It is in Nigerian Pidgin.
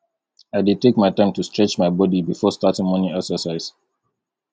i dey take my time to stretch my body before starting morning exercise